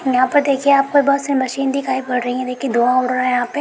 यहां पे देखिए आप को बस ये मशीन दिखाई पड रही है देखिए दो ओर है यहा पे।